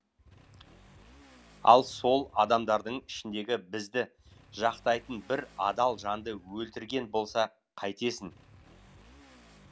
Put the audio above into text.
ал сол адамдардың ішіндегі бізді жақтайтын бір адал жанды өлтірген болса қайтесің